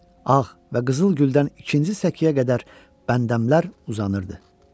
Ağ və qızıl güldən ikinci səkiyə qədər bəndəmlər uzanırdı.